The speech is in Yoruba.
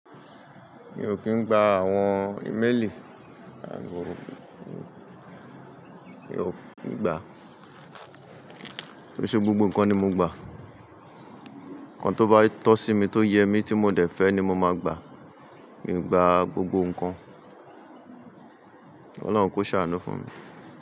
Mi ò kín gba àwọn ìmélì, àìní mi ò gba. Kiise gbogbo nǹkan ni mo gba. Ǹkan tó bá tọ́ sí mi tó yẹ mí tí mo dẹ̀ fẹ́ ni mo máa gba. Mi ò gba gbogbo nǹkan. Ọlọ́run kó ṣàánú fún mi.